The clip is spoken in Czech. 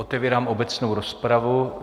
Otevírám obecnou rozpravu.